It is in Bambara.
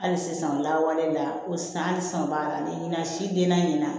Hali sisan lawale la ko sisan hali san b'a la ne na na si den na ɲɛna